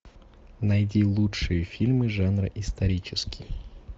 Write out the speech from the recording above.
найди лучшие фильмы жанра исторический